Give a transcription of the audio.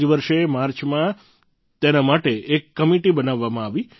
આ જ વર્ષે માર્ચમાં તેના માટે એક કમિટી બનાવવામાં આવી